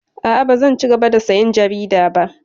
A'a, bazan cigaba da sayan jarida ba.